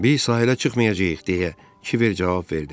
Biz sahilə çıxmayacağıq deyə, Kiver cavab verdi.